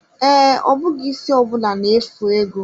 Ee, ọ bụghị isi ọbụna na-efu ego.